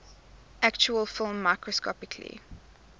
actual film microscopically